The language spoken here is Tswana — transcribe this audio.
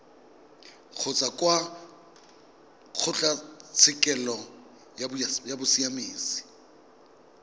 kgotsa kwa kgotlatshekelo ya bosiamisi